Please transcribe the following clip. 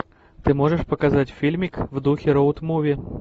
ты можешь показать фильмик в духе роуд муви